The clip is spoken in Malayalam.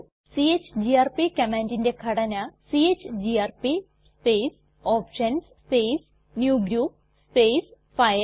ചിഗിആർപി കമാൻഡിന്റെ ഘടന ചിഗിആർപി space options space new group space files